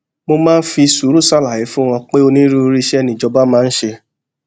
mo máa ń fi sùúrù ṣàlàyé fún wọn pé onírúurú iṣé ni ìjọba máa ń ṣe